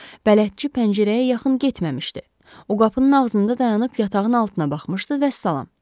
Bələdçi pəncərəyə yaxın getməmişdi, o qapının ağzında dayanıb yatağın altına baxmışdı, vəssalam.